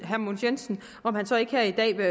herre mogens jensen om han så ikke her i dag vil